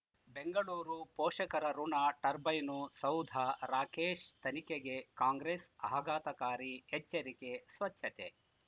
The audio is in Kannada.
ಬೆಂಗಳೂರು ಪೋಷಕರಋಣ ಟರ್ಬೈನು ಸೌಧ ರಾಕೇಶ್ ತನಿಖೆಗೆ ಕಾಂಗ್ರೆಸ್ ಆಘಾತಕಾರಿ ಎಚ್ಚರಿಕೆ ಸ್ವಚ್ಛತೆ